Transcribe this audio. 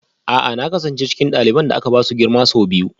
A'a na kasance cikin ɗaliban da aka ba su girma sau biyu